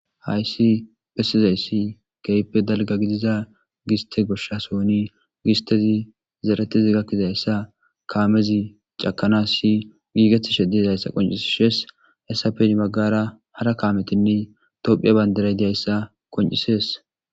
hayssi phesizayssi keype dalga gidiza giste goshasooni gistezi zeretezi gakkizayssa kaamezi cakana si giigeti shedezayssa qoncisi shees hessafedi maggara hara kaametinne tophiya baynderay diayssa qoncisees